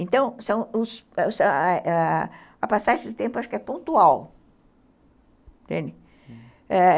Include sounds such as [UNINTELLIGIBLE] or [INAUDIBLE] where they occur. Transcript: Então, [UNINTELLIGIBLE] a passagem do tempo acho que é pontual, entendeu, uhum.